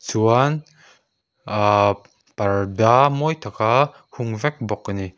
chuan ah parda mawi taka hung vek bawk a ni.